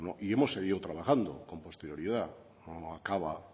y hemos seguido trabajando con posterioridad no acaba